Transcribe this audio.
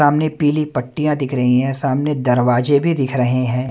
सामने पीली पट्टियां दिख रही हैं सामने दरवाजे भी दिख रहे हैं।